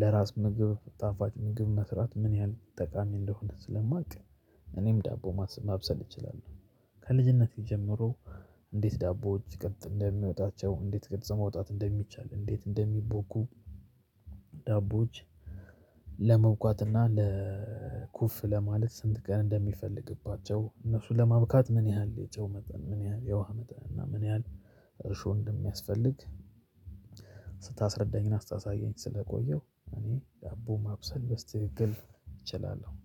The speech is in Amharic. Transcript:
ለራስ ምግብ ጣፋጭ ምግብ መስራት ምን ያህል ጠቃሚ አንደሆነ ስለማቅ። እኔም ዳቦ ማብሰል እችላለሁ ከልጅነቴ ጀምሮ። እንዴት ዳቦዎች ሲቀጥ እንደሚወጣቸው እንዴት ቅርጽ ማውጣት እንደሚቻል እንዴት እንደሚቦኩ ዳቦዎች ለመብኳት እና ለ ኩፍ ለማለት ስንት ቀን እንደሚፈልግባቸው እነሱን ለማብኳት ምን ያህል የጨው መጠን ምን ያህል የውሃ መጠን እና ምን ያህል እርሾ እንደሚያስፈልግ። ስታስረዳኝ እና ስታሳየኝ ስለቆየሁ እኔ ዳቦ ማብሰል በስትክክል እችላለሁ